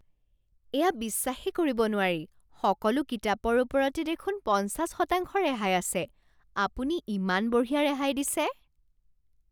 এয়া বিশ্বাসেই কৰিব নোৱাৰি! সকলো কিতাপৰ ওপৰতে দেখোন পঞ্চাশ শতাংশ ৰেহাই আছে। আপুনি ইমান বঢ়িয়া ৰেহাই দিছে।